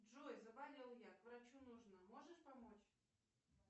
джой заболел я к врачу нужно можешь помочь